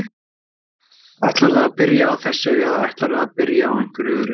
Ætlarðu að byrja á þessu eða ætlarðu að byrja á einhverju öðru?